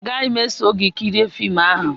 Agaghị m eso gị kirie fim ahụ